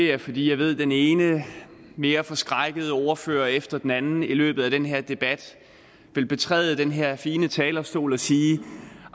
jeg fordi jeg ved at den ene mere forskrækkede ordfører efter den anden i løbet af den her debat vil betræde den her fine talerstol og sige